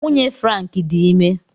Nwunye Frank dị ime.